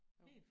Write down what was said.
Jo